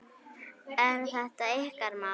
Er þetta ykkar mál?